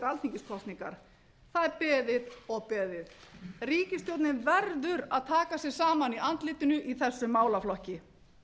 alþingiskosningar það er beðið og beðið ríkisstjórnin verður að taka sig saman í andlitinu í þessum málaflokki